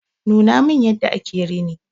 Nuna min yadda ake rini.